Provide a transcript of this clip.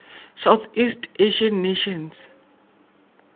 southeast asian nations